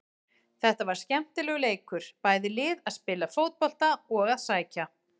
Þetta var skemmtilegur leikur, bæði lið að spila fótbolta og að sækja.